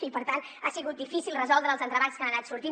i per tant ha sigut difícil resoldre els entrebancs que han anat sortint